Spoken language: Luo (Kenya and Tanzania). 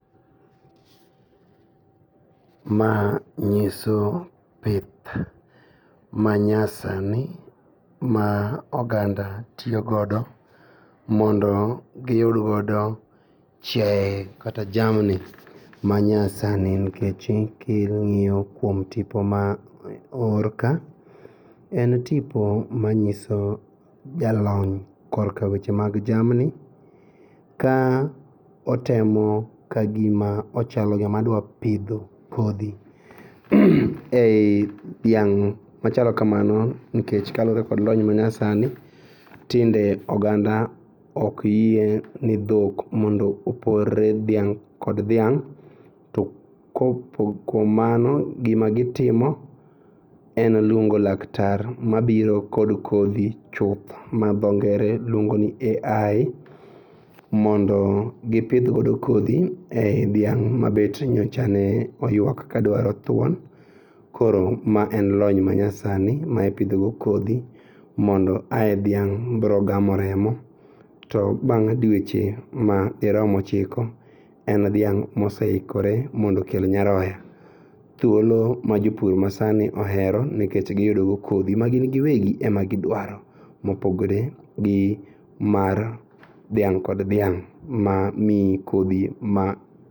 Ma nyiso pith manyasani ma oganda tiyo godo mondo giyud godo chiae kata jamni manyasani nikech king'iyo kuom tipo maoor ka en tipo manyiso jalony kor ka weche mag jamni ka otemo kagima ochalo joma dwapidho kodhi ei dhiang' machalo kamano nikech kaluore kod lony manyasani tinde oganda okyie ni dhok mondo opore dhiang' kod dhiang' to kopoko mano gima gitimo en luongo laktar mabiro kod kodhi chuth ma dhongere luongoni AI mondo gipidh godo kodhi ei dhiang' mabet nyocha ne oyuak kaduaro thuon koro ma en lony manyasani ma ipidhogo kodhi mondo ae dhiang' brogamo remo to bang' dueche ma dirom ochiko en dhiang' moseikore mondokel nyaroya. Thuolo ma jopur masani ohero nikech giyudogo kodhi magin giwegi ema gidwaro mopogore gi mar dhiang' kod dhiang' mamii kodhi ma